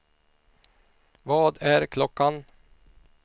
Vad är klockan